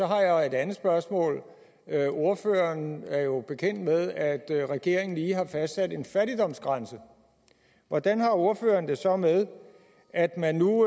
har jeg et andet spørgsmål ordføreren er jo bekendt med at regeringen lige har fastsat en fattigdomsgrænse hvordan har ordføreren det så med at man nu